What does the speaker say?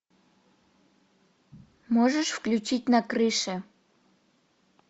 можешь включить на крыше